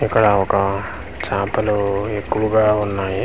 ఇక్కడ ఒక చాపలు ఎక్కువగా ఉన్నాయి .